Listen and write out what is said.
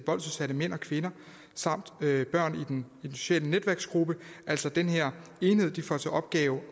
voldsudsatte mænd og kvinder samt børn i den sociale netværksgruppe altså den her enhed får til opgave